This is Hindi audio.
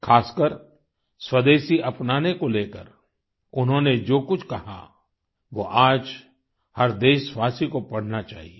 ख़ासकर स्वदेशी अपनाने को लेकर उन्होंने जो कुछ कहा वो आज हर देशवासी को पढ़ना चाहिये